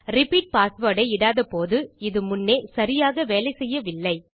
repeat password ஐ இடாதபோது இது முன்னே சரியாக வேலை செய்யவில்லை